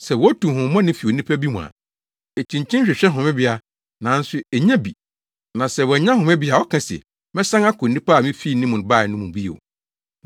“Sɛ wotu honhommɔne fi onipa bi mu a, ekyinkyin hwehwɛ homebea, nanso ennya bi. Na sɛ wannya homebea a ɔka se, ‘Mɛsan akɔ onipa a mifii ne mu bae no mu bio.’